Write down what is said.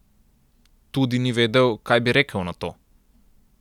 Tudi ni vedel, kaj naj bi rekel na to.